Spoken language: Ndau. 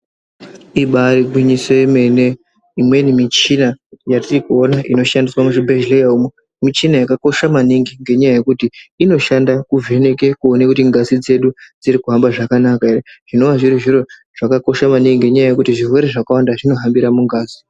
Ibari gwinyiso yemene imweni michina yatirikuona inoshandiswavo muzvibhedhleya umwo. Michina yakakosha maningi ngenyaya yekuti inoshanda kuvheneke kuona kuti ngazi dzedu dziri kuhamba zvakanaka ere. Zvinova zviri zviro zvakakosha maningi ngenyaya yekuti zviwere zvakawanda zvinohambira mungazi.